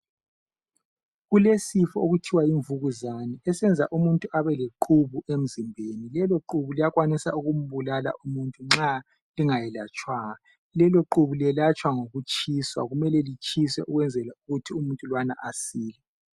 Kulesifo okuthiwa yimvukuzane esenza umuntu abeleqhubu emzimbeni lelo qhubu liyakwanisa ukukubulala umuntu nxa lingaye atshwanga lelo qhubu liyelatshwa ngokutshiswa kumele litshiswe ukwenzela ukuthi umuntu lwana asile